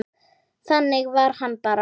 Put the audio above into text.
Þannig var hann bara.